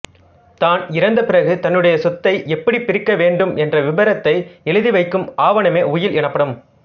தான் இறந்த பிறகு தன்னுடைய சொத்து எப்படிப் பிரிக்கப்பட வேண்டும் என்ற விருப்பத்தை எழுதிவைக்கும் ஆவணமே உயில் எனப்படும்